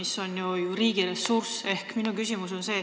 See on ju riigiressurss.